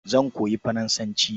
Zan koyi Faransanci.